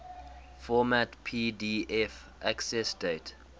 format pdf accessdate